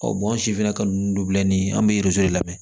an si fɛnɛ ka numu dɔ bila ni an be de lamɛn